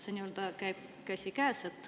Need käivad käsikäes.